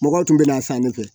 Mɔgɔw tun bɛna san ne fɛ